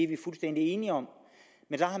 vi fuldstændig enige om men